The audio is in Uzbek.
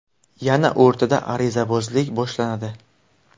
Yana o‘rtada arizabozlik boshlanadi.